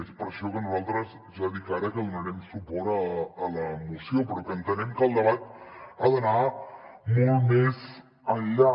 és per això que nosaltres ja dic ara que donarem suport a la moció però que entenem que el debat ha d’anar molt més enllà